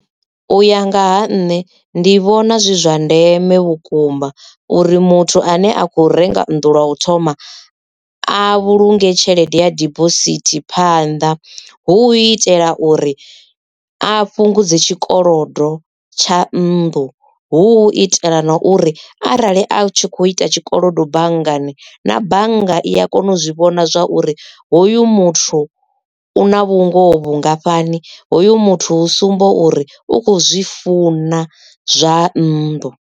U ya nga ha nṋe ndi vhona zwi zwa ndeme vhukuma uri muthu ane a khou renga nnḓu lwa u thoma a vhulunge tshelede ya dibosithi phanda hu itela uri a fhungudze tshikolodo tsha nndu hu itela na uri arali a tshi kho ita tshikolodo banngani na bannga i a kona u zwi vhona zwa uri hoyu muthu u na vhungoho vhungafhani hoyu muthu hu sumba uri u kho zwi funa zwa nnḓu.